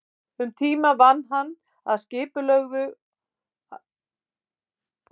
Um tíma vann hann að tillögu að nýju skipulagi fyrir kauptúnið.